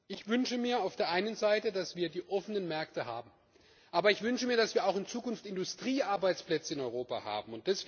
Ich wünsche mir auf der einen Seite, dass wir die offenen Märkte haben. Aber ich wünsche mir, dass wir auch in Zukunft Industriearbeitsplätze in Europa haben.